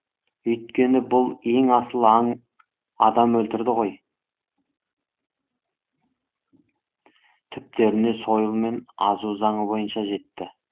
өйткені бұл ең асыл аң адам өлтірді ғой түптеріне сойыл мен азу заңы бойынша жетті